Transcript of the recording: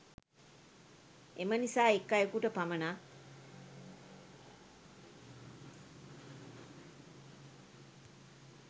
එම නිසා එක් අයකුට පමණක්